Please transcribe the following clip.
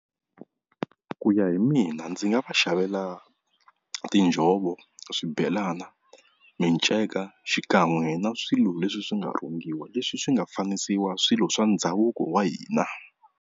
Ku ya hi mina ndzi nga va xavela tinjhovo, swibelana, miceka xikan'we na swilo leswi swi nga rhungiwa leswi swi nga fanisiwa swilo swa ndhavuko wa hina.